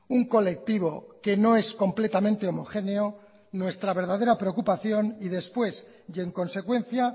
un colectivo que no es completamente homogéneo nuestra verdadera preocupación y después y en consecuencia